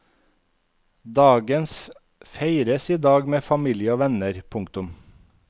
Dagens feires i dag med familie og venner. punktum